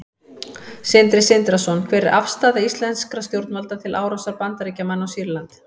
Sindri Sindrason: Hver er afstaða íslenskra stjórnvalda til árásar Bandaríkjamanna á Sýrland?